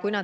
Kuna